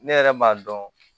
Ne yɛrɛ m'a dɔn